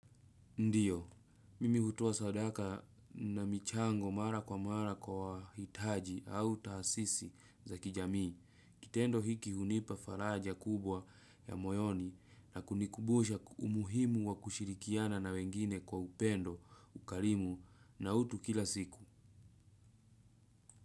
Ndiyo, mimi hutoa sadaka na michango mara kwa mara kwa hitaji au taasisi za kijamii, kitendo hiki hunipa faraja kubwa ya moyoni na kunikubusha umuhimu wa kushirikiana na wengine kwa upendo, ukarimu na utu kila siku.